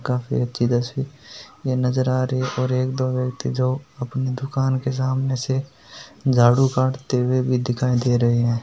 काफ़ी अच्छी तस्वीर ये नजर आ रही और एक दो व्यक्ति जो अपनी दूकान के सामने से झाड़ू काढ़ते हुए भी दिखाई दे रहे है।